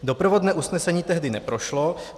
Doprovodné usnesení tehdy neprošlo.